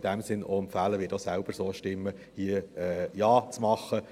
In diesem Sinne empfehle ich Ihnen, wie ich selbst, Ja zu stimmen.